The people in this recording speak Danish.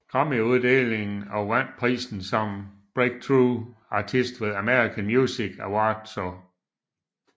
Grammyuddeling og vandt prisen som Breakthrough Artist ved American Music Awardså